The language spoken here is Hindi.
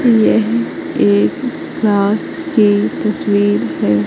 यह एक क्लास की तस्वीर है।